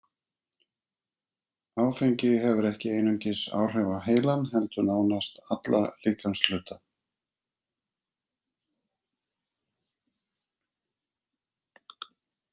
Áfengi hefur ekki einungis áhrif á heilann heldur nánast alla líkamshluta.